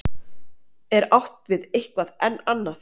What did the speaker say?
er átt við eitthvað enn annað